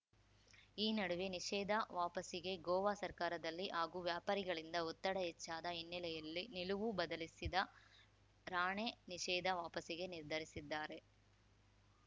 ಈ ನಡುವೆ ನಿಷೇಧ ವಾಪಸಿಗೆ ಗೋವಾ ಸರ್ಕಾರದಲ್ಲಿ ಹಾಗೂ ವ್ಯಾಪಾರಿಗಳಿಂದ ಒತ್ತಡ ಹೆಚ್ಚಾದ ಹಿನ್ನೆಲೆಯಲ್ಲಿ ನಿಲುವು ಬದಲಿಸಿದ ರಾಣೆ ನಿಷೇಧ ವಾಪಸಿಗೆ ನಿರ್ಧರಿಸಿದ್ದಾರೆ